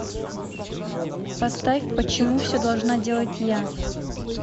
поставь почему все должна делать я